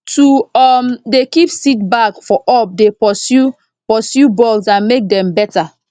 to um dey keep seed bag for up dey pursue pursue bugs and make dem better